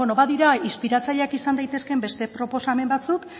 bueno badira inspiratzaileak izan daitezkeen beste proposamen batzuk